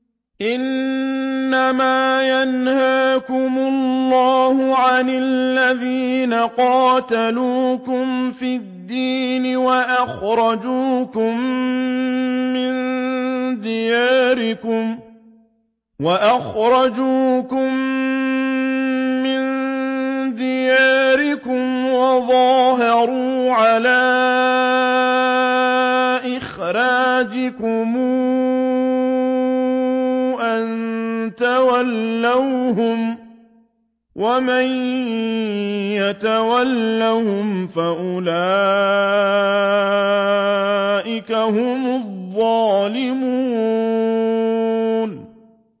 إِنَّمَا يَنْهَاكُمُ اللَّهُ عَنِ الَّذِينَ قَاتَلُوكُمْ فِي الدِّينِ وَأَخْرَجُوكُم مِّن دِيَارِكُمْ وَظَاهَرُوا عَلَىٰ إِخْرَاجِكُمْ أَن تَوَلَّوْهُمْ ۚ وَمَن يَتَوَلَّهُمْ فَأُولَٰئِكَ هُمُ الظَّالِمُونَ